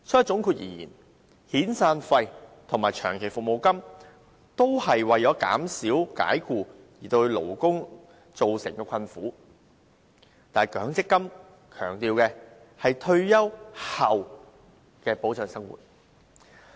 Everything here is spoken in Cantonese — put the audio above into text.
總括而言，遣散費及長期服務金是為減輕解僱對僱員造成的困苦，但強積金是保障僱員退休後的生活。